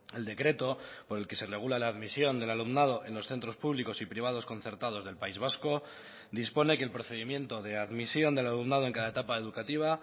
el decreto por el que se regula la admisión del alumnado en los centros públicos y privados concertados del país vasco dispone que el procedimiento de admisión del alumnado en cada etapa educativa